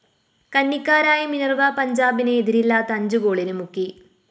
കന്നിക്കാരായ Minerva പഞ്ചാബിനെ എതിരില്ലാത്ത അഞ്ചു ഗോളിന് മുക്കി